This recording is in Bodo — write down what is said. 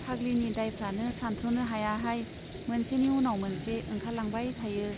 फाग्लिनि दाइफ्रानो सानथ्रनो हायाहाय , मोनसेनि उनाव मोनसे ओंखारलांबाय थायो।